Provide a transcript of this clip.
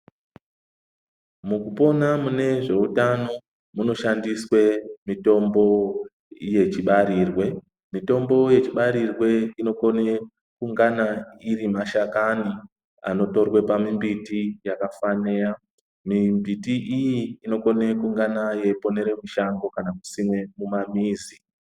Mukupona mune zveutano, munoshandiswe mitombo yechibarirwe. Mitombo yechibarirwe inokone kungana ,iri mashakani anotorwe pamimbiti yakafaneya. Mimbiti iyi inokone kungana yeiponere mushango ,kana kusime pamamizi.